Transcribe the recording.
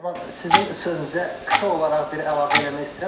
Nəriman, sizin sözünüzə qısa olaraq bir əlavə eləmək istəyirəm.